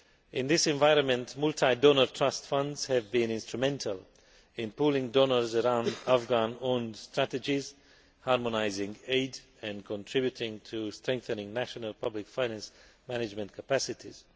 In this environment, multi donor trust funds have been instrumental in pooling donors around Afghan owned strategies, harmonising aid and contributing to strengthening national public finance management capacities.